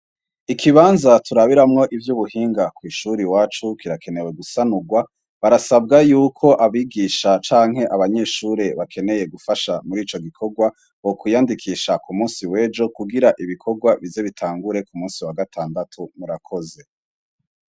Ikibanza turabiramwo ivyo ubuhinga kw'ishuri wacu kirakenewe gusanurwa barasabwa yuko abigisha canke abanyeshure bakeneye gufasha muri ico gikorwa bokwiyandikisha ku musi wejo kugira ibikorwa bize bitangure ku musi wa gatandatu murakoze.